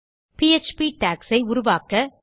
PHP docs ஐ உருவாக்க